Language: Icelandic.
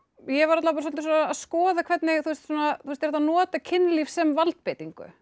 ég var alla vega svolítið að skoða hvernig er hægt að nota kynlíf sem valdbeitingu